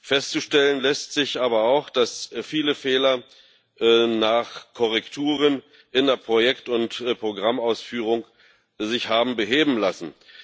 Feststellen lässt sich aber auch, dass sich viele Fehler nach Korrekturen in der Projekt und Programmausführung haben beheben lassen.